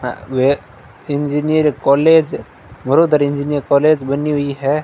वे engineer college Vadodara engineer college बनी हुई है।